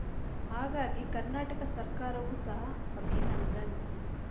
ಹಾಗಾಗಿ ಕರ್ನಾಟಕ ಸರ್ಕಾರವು ಸಹ ಅಭಿನಂದನ್